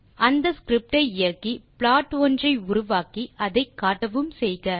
அந்த ஸ்கிரிப்ட் ஐ இயக்கி ப்ளாட் ஒன்றை உருவாக்கி அதை காட்டவும் செய்க